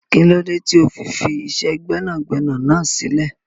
Kílódé tó fi fi iṣẹ́ gbẹ́nàgbẹ́nà náà sílẹ̀?